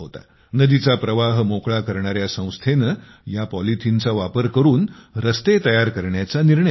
नदीचा प्रवाह मोकळा करणाऱ्या संस्थेने या पॉलिथिनचा वापर करून रस्ते तयार करण्याचा निर्णय घेतला